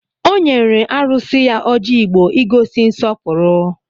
Ọ nyere arụsị ya ọjị Igbo ị gosi nsọpụrụ